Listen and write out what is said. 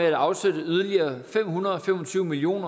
at afsætte yderligere fem hundrede og fem og tyve million